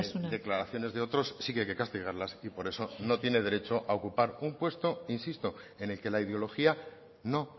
declaraciones de otros sí que hay que castigarlas y por eso no tiene derecho a ocupar un puesto insisto en el que la ideología no